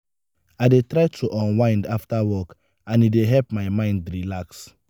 i dey try to unwind after work and e dey help my mind relax.